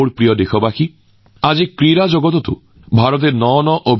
মোৰ প্ৰিয় দেশবাসী আজি ভাৰতে ক্ৰীড়া জগততো নতুন উচ্চতাত উপনীত হৈছে